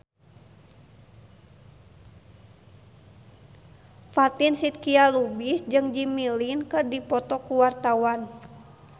Fatin Shidqia Lubis jeung Jimmy Lin keur dipoto ku wartawan